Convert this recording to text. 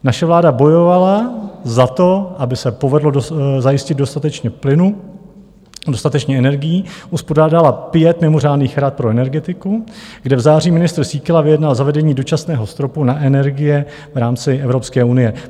Naše vláda bojovala za to, aby se povedlo zajistit dostatečně plynu, dostatečně energií, uspořádala pět mimořádných rad pro energetiku, kde v září ministr Síkela vyjednal zavedení dočasného stropu na energie v rámci Evropské unie.